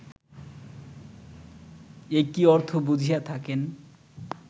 একই অর্থ বুঝিয়া থাকেন